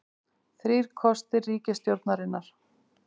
Þrír kostir ríkisstjórnarinnar